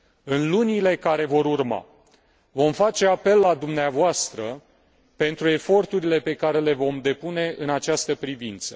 În lunile care vor urma, vom face apel la dumneavoastră pentru eforturile pe care le depunem în această privință.